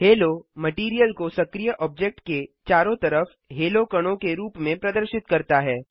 हालो material को सक्रीय object के चारों तरफ हेलो कणों के रूप में प्रदर्शित करता है